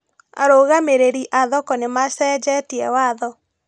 Arũgamĩrĩri a thoko nĩmacenjetie watho